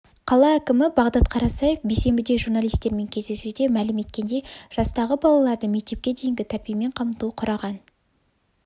қала әкімі бағдат қарасаев бейсенбіде журналистермен кездесуде мәлім еткендей жастағы балаларды мектепке дейінгі тәрбиемен қамту құраған